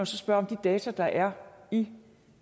så spørge om de data der er i